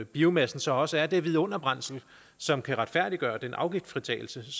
biomassen så også er det vidunderbrændsel som kan retfærdiggøre den afgiftsfritagelse